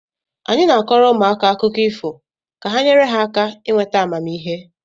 Anyị na-akọọrọ ụmụaka akụkọ ifo ka ha nyere ha aka ịnweta amamihe